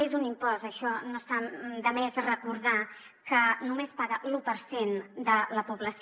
és un impost això no està de més recordarho que només paga l’u per cent de la població